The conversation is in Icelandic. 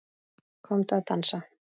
Komdu að dansa